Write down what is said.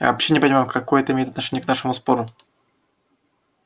я вообще не понимаю какое это имеет отношение к нашему спору